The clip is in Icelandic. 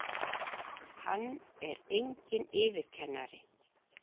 Hann er enginn yfirkennari!